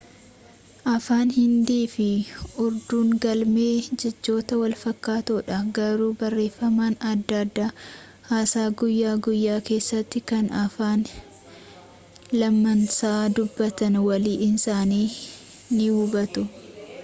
afaan hindii fi urduun galmee jechootan walfakkaatoodha garuu barreeffamaan adda adda haasaa guyyaa guyyaa keessatti kan afaan lamaansaa dubbatan walii isaanii nii hubatu